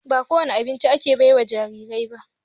Ba ko wani abinci ake baiwa jarirai ba.